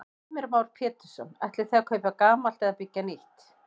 Heimir Már Pétursson: Ætlið þið að kaupa gamalt eða byggja nýtt?